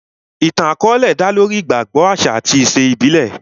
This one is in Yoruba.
Ìtàn àkọ́ọ́lẹ̀ dá lórí ìgbàgbọ, àṣà àti ìṣe ìbílẹ̀